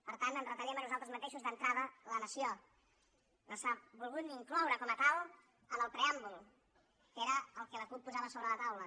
per tant ens retallem a nosaltres mateixos d’entrada la nació no s’ha volgut ni incloure com a tal en el preàmbul que era el que la cup posava sobre la taula